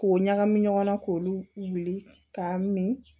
K'o ɲagami ɲɔgɔnna k'olu wuli k'a min